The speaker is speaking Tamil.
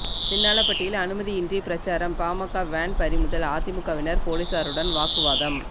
சின்னாளபட்டியில் அனுமதியின்றி பிரசாரம் பாமக வேன் பறிமுதல் அதிமுகவினர் போலீசாருடன் வாக்குவாதம்